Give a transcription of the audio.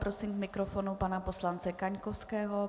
Prosím k mikrofonu pana poslance Kaňkovského.